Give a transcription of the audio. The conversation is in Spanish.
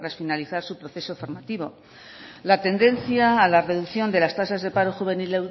finalizar su proceso formativo la tendencia a la reducción de las tasas de paro juvenil